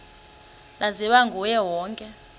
laziwa nguye wonke